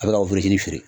A bɛ ka wotoro feere